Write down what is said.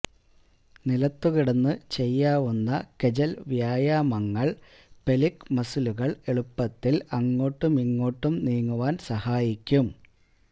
നിലത്തു കിടന്ന് ചെയ്യാവുന്ന കെജല് വ്യായാമങ്ങള് പെല്വിക് മസിലുകള് എളുപ്പത്തില് അങ്ങോട്ടുമിങ്ങോട്ടും നീങ്ങുവാന് സഹായിക്കും